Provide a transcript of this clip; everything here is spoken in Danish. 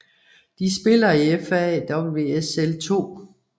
De spiller i FA WSL 2